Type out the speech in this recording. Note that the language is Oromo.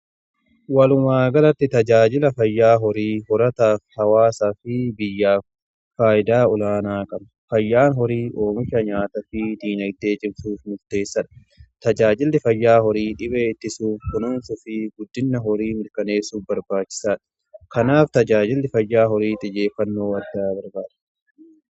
Walumaagalatti tajaajila fayyaa horii hawaasaa fi biyyaa faayidaa olaanaa qaba. Fayyaan horii oomisha nyaata fi diinadee cimsuuf murteessadha. Tajaajilli fayyaa horii dhibee ittisuuf kunuunsuu fi guddinna horii mirkaneessuuf barbaachisaadha. Kanaaf tajaajilli fayyaa horii xiyyeeffannoo guddaa barbaada.